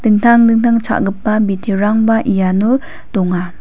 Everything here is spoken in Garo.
dingtang dingtang cha·gipa biterangba iano donga.